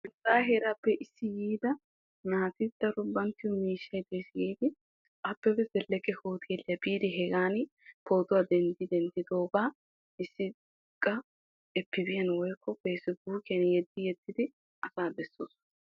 nuugaa heerappe issi biida naati daro bankke miishshay des giidi abebe zeleqe hoteelliya biidi hegaani poottuwa dendii denddidoogaa issi qa efibiyan woykko feessibuukkiyan yeddidi asaa besoosona.